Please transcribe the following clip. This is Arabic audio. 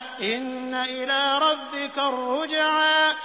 إِنَّ إِلَىٰ رَبِّكَ الرُّجْعَىٰ